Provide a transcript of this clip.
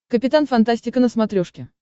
капитан фантастика на смотрешке